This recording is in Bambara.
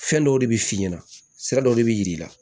Fɛn dɔw de bɛ f'i ɲɛna sira dɔw de bɛ yir'i la